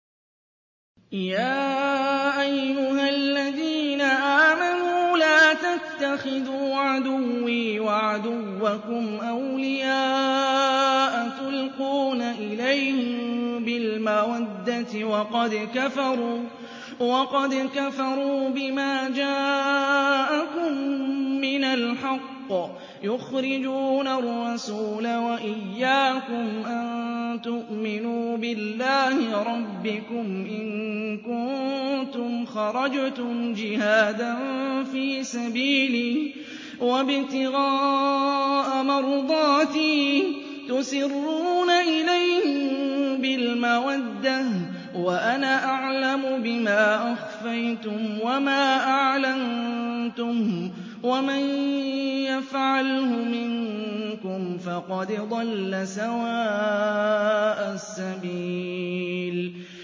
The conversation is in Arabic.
يَا أَيُّهَا الَّذِينَ آمَنُوا لَا تَتَّخِذُوا عَدُوِّي وَعَدُوَّكُمْ أَوْلِيَاءَ تُلْقُونَ إِلَيْهِم بِالْمَوَدَّةِ وَقَدْ كَفَرُوا بِمَا جَاءَكُم مِّنَ الْحَقِّ يُخْرِجُونَ الرَّسُولَ وَإِيَّاكُمْ ۙ أَن تُؤْمِنُوا بِاللَّهِ رَبِّكُمْ إِن كُنتُمْ خَرَجْتُمْ جِهَادًا فِي سَبِيلِي وَابْتِغَاءَ مَرْضَاتِي ۚ تُسِرُّونَ إِلَيْهِم بِالْمَوَدَّةِ وَأَنَا أَعْلَمُ بِمَا أَخْفَيْتُمْ وَمَا أَعْلَنتُمْ ۚ وَمَن يَفْعَلْهُ مِنكُمْ فَقَدْ ضَلَّ سَوَاءَ السَّبِيلِ